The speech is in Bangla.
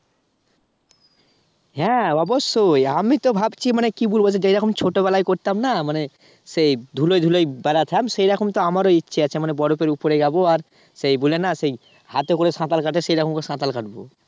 হ্যাঁ অবশ্যই আমি তো ভাবছি মানে কি বলবো এরকম ছোটবেলায় করতাম না মানে সেই ধুলো ধুলো য় বেড়াতাম সেই এখন তো আমারও ইচ্ছা আছে। মানে বরফের উপরে যাব আর সেই বলে না সেই হাতে করে সাঁতার কাটে সে রকম করে সাঁতার কাটবো